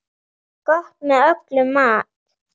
Gott með öllum mat.